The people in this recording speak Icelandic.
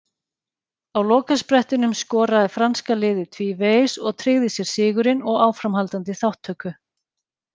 Á lokasprettinum skoraði franska liðið tvívegis og tryggði sér sigurinn og áframhaldandi þátttöku.